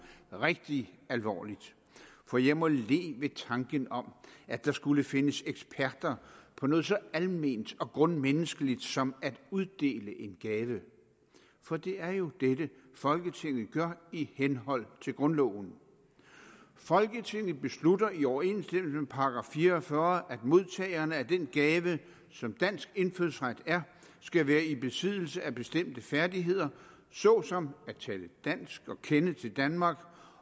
rigtig alvorligt for jeg må le ved tanken om at der skulle findes eksperter på noget så alment og grundmenneskeligt som at uddele en gave for det er jo det folketinget gør i henhold til grundloven folketinget beslutter i overensstemmelse med § fire og fyrre at modtagerne af den gave som dansk indfødsret er skal være i besiddelse af bestemte færdigheder såsom at tale dansk og kende til danmark